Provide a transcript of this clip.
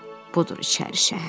Budur içəri şəhər.